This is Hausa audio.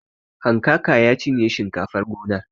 Hankaka ya cinye shinkafar gonar.